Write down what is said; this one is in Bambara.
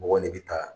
Mɔgɔ de bɛ taa